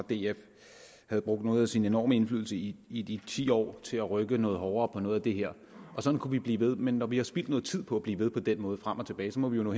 havde brugt noget af sin enorme indflydelse i i de ti år til at rykke noget hårdere på noget af det her sådan kunne vi blive ved men når vi har spildt noget tid på at blive ved på den måde frem og tilbage må vi jo nå